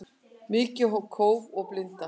Mikið kóf og blinda